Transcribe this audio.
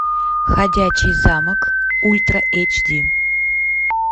ходячий замок ультра эйч ди